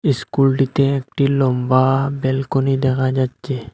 ইস্কুলটিতে একটি লম্বা ব্যালকনি দেখা যাচ্ছে।